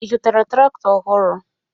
Ị zụtara traktọ ọhụrụ?